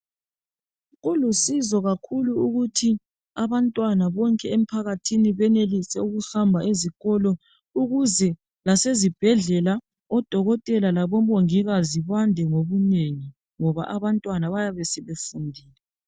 Kulusizo kakhulu ukuthi abantwana bonke emphakathini benelise ukuhamba ezikolo ukuze lasezibhedlela odokotela labomongikazi bande ngobunengi ngoba abantwana bayabe sebefundile.